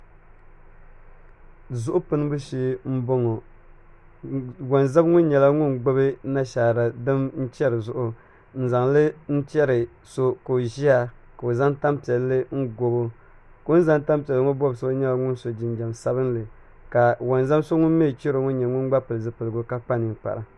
Zuɣu pinibu shee n boŋo wonzam ŋo nyɛla ŋun gbubi nashaara bini n chɛri zuɣu n zaŋli n chɛri so ka o ʒiya ka o zaŋ tanpiɛlli n gobo o ni zaŋ tanpiɛlli gobi so ŋo nyɛla ŋun so jinjɛm sabinli ka wonzam so ŋun mii chɛro ŋo gba nyɛla ŋun pili zipiligu ka kpa ninkpara